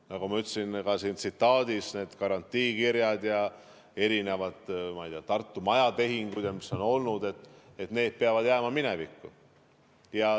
Nagu ma ütlesin ka selles tsitaadis, need garantiikirjad ja erinevad, ma ei tea, Tartu majatehingud, mis on olnud, peavad jääma minevikku.